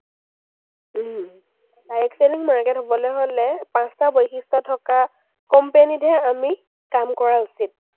direct selling market হ’বলে হ’লে পাঁচটা বৈশিষ্ট্য থকা company তহে আমি কাম কৰা উচিত।